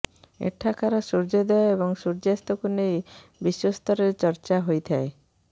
ଏଠାକାର ସୂର୍ଯ୍ୟୋଦୟ ଏବଂ ସୂର୍ଯ୍ୟାସ୍ତକୁ ନେଇ ବିଶ୍ବସ୍ତରରେ ଚର୍ଚ୍ଚା ହୋଇଥାଏ